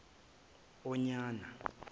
onyana